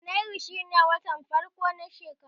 Janairu shine watan farko na shekara